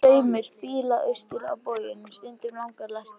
Það er straumur bíla austur á bóginn, stundum langar lestir.